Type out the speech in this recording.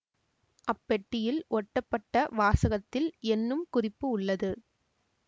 அப்பெட்டியில் ஒட்டப்பட்ட வாசகத்தில் என்னும் குறிப்பு உள்ளது